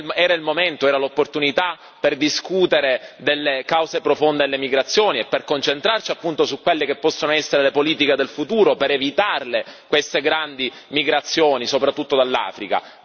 Era il momento, era l'opportunità per discutere delle cause profonde all'emigrazione e per concentrarci appunto su quelle che possono essere le politiche del futuro e per evitare queste grandi migrazioni, soprattutto dall'Africa.